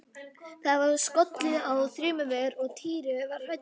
Það var skollið á þrumuveður og Týri var hræddur.